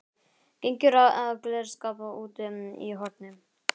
Gengur að glerskáp úti í horni.